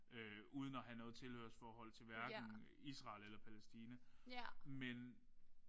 Øh at have noget tilhørsforhold til hverken Israel eller Palæstina men